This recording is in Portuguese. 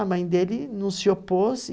A mãe dele não se opôs.